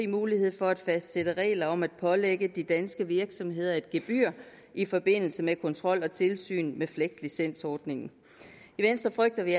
mulighed for at fastsætte regler om at pålægge de danske virksomheder et gebyr i forbindelse med kontrol og tilsyn med flegt licensordningen i venstre frygter vi